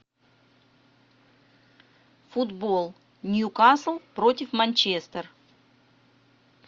футбол ньюкасл против манчестер